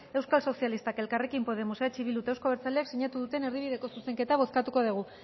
euskal sozialista elkarrekin podemos eh bilduk eta euzko abertzaleak sinatu duten erdibideko zuzenketa bozkatuko dugu